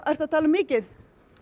ertu að tala um mikið